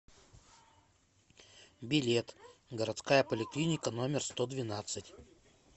билет городская поликлиника номер сто двенадцать